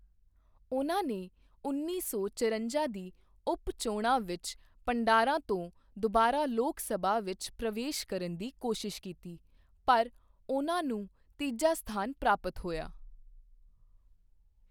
ਉਨ੍ਹਾਂ ਨੇ ਉੱਨੀ ਸੌ ਚਰੰਜਾ ਦੀ ਉਪ ਚੋਣਾ ਵਿੱਚ ਭੰਡਾਰਾ ਤੋਂ ਦੁਬਾਰਾ ਲੋਕ ਸਭਾ ਵਿੱਚ ਪ੍ਰਵੇਸ਼ ਕਰਨ ਦੀ ਕੋਸ਼ਿਸ਼ ਕੀਤੀ ਪਰ ਉਨ੍ਹਾਂ ਨੂੰ ਤੀਜਾ ਸਥਾਨ ਪ੍ਰਾਪਤ ਹੋਇਆਂ I